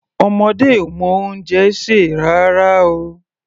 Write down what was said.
Ọmọdé ò mọ oúnjẹ sè rárá o.